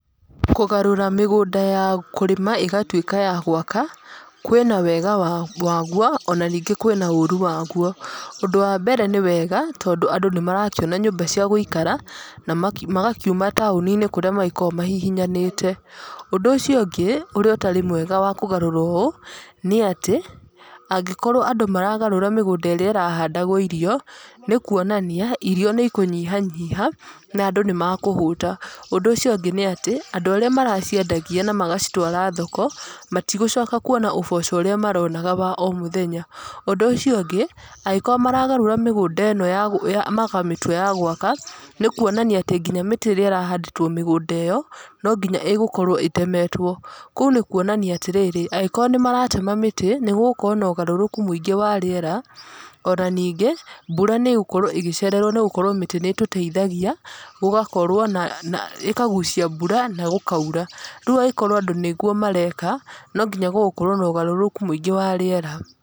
Kũgarũra mĩgũnda ya kũrĩma ĩgatuĩka ya gwaka, kwĩna wega waguo ona ningĩ kwĩna ũru waguo. Ũndũ wa mbere nĩ wega, tondũ andũ nĩ marakĩona nyũmba cia gũikara na magakiuma taũni-inĩ kũrĩa makoragwo mahihinyanĩte. Ũndũ ũcio ũngĩ ũrĩa ũtarĩ mwega wa kũgarũra ũũ nĩ atĩ, angĩkorwo andũ maragarũra mĩgũnda ĩrĩa ĩrahandagwo irio, nĩ kuonania irio nĩ ikũnyiha nyiha na andũ nĩ makũhũta. Ũndũ ũcio ũngĩ nĩ atĩ andũ arĩa maraciendagia na magacitwaraga thoko, matigũcoka kuona ũboco ũrĩa maronaga o wa mũthenya. Ũndũ ũcio ũngĩ, angĩkorwo maragarũra mĩgũnda ĩno makamĩtua ya gwaka, nĩ kuonania atĩ nginya mĩtĩ ĩrĩa ĩrahandĩtwo mĩgũnda ĩyo, no nginya ĩgũkorwo ĩtemetwo. Kũu nĩ kuonania atĩrĩrĩ angĩkorwo nĩ maratema mĩtĩ, nĩ gũgũkorwo na ũgarũrũku mũingĩ wa rĩera, ona ningĩ mbura nĩ ĩgũkorwo ĩgĩcererwo nĩ gũkorwo mĩtĩ nĩ ĩtũteithagia gũkorwo, ĩkagucia mbura na gũkaura. Rĩu angĩkorwo nĩguo andũ mareka, no nginya gũgũkorwo na ũgarũrũku mũingĩ wa rĩera.